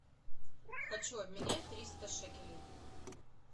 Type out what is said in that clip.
хочу обменять триста шекелей